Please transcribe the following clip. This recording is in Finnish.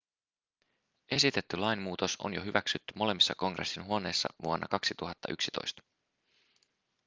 esitetty lainmuutos on jo hyväksytty molemmissa kongressin huoneissa vuonna 2011